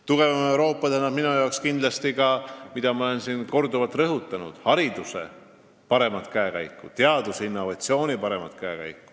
Tugevam Euroopa tähendab minu jaoks kindlasti ka seda, mida ma olen siin korduvalt rõhutanud: see on hariduse parem käekäik, teadustöö ja innovatsiooni parem käekäik.